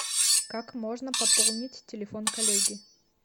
как можно пополнить телефон коллеги